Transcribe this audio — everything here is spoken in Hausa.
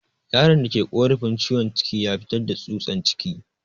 Yaron da ke korafin ciwon ciki ya fitar da tsutsan ciki.